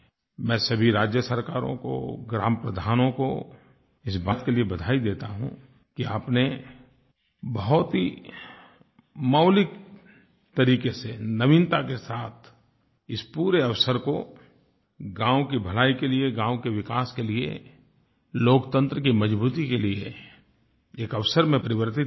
मैं सभी राज्य सरकारों को ग्राम प्रधानों को इस बात के लिए बधाई देता हूँ कि आपने बहुत ही मौलिक तरीक़े से नवीनता के साथ इस पूरे अवसर को गाँव की भलाई के लिये गाँव के विकास के लिये लोकतंत्र की मज़बूती के लिये एक अवसर में परिवर्तित किया